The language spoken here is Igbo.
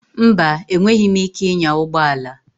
Mba, enweghịm ike ịnya ụgbọ ala.